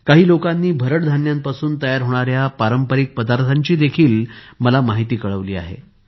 काही लोकांनी भरड धान्यांपासून तयार होणाऱ्या पारंपरिक पदार्थांची देखील माहिती दिली आहे